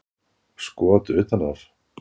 Skot utan af